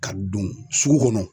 Ka don sugu kɔnɔ.